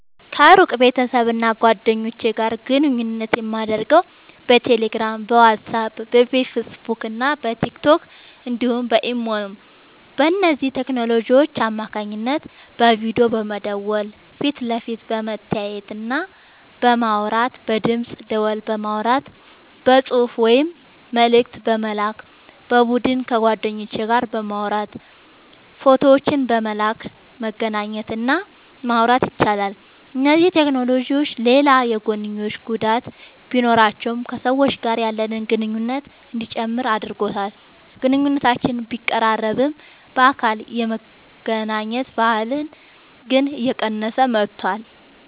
ከሩቅ ቤተሰብና ጓደኞች ጋር ግንኙነት የማደርገው በቴሌግራም፣ በዋትስአፕ፣ በፌስቡክና በቲክቶክ እንዲሁም በኢሞ ነው። በእነዚህ ቴክኖሎጂዎች አማካኝነት በቪዲዮ በመደወል ፊት ለፊት በመተያየትና በማውራት፣ በድምፅ ደወል በማውራት፣ በጽሑፍ ወይም መልእክት በመላክ፣ በቡድን ከጓደኞች ጋር በማውራት ፎቶዎችን በመላላክ መገናኘት እና ማውራት ይቻላል። እነዚህ ቴክኖሎጂዎች ሌላ የጐንዮሽ ጉዳት ቢኖራቸውም ከሰዎች ጋር ያለንን ግንኙነት እንዲጨምር አድርጎታል። ግንኙነቶችን ቢያቀራርብም፣ በአካል የመገናኘት ባህልን ግን እየቀነሰው መጥቷል።